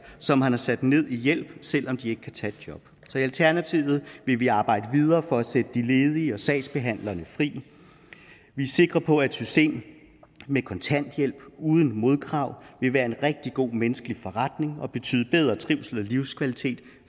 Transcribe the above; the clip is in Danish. som man har sat ned i hjælp selv om de ikke kan tage et job så i alternativet vil vi arbejde videre for at sætte de ledige og sagsbehandlerne fri vi er sikre på at et system med kontanthjælp uden modkrav vil være en rigtig god menneskelig forretning og betyde bedre trivsel og livskvalitet